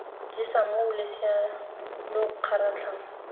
jesa moo losea lo kgaratlhang